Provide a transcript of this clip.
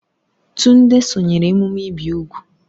Tunde sonyeere emume ibi úgwù.